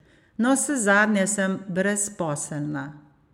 Navsezadnje sem brezposelna.